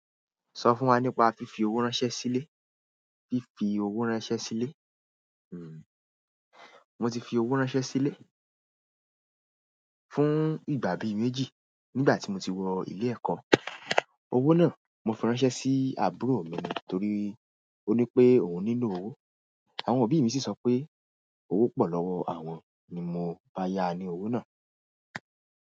Sọ fún wa nípa fífi owó ránṣẹ́ sílé. Fífi owó ránṣẹ́ sílé, hmm mo ti fi owó ránṣẹ́ sílé fún ìgbà bí méjì nígbà tí mo ti wọ ilé ẹ̀kọ́. Owó náà mo fi ránṣẹ́ sí àbúrò mi torí ó ní pé òhun nílò owó àwọn òbí mi sì sọ pé owó pọ̀ lọ́wọ́ àwọn ni mo máa yá ni owó náà.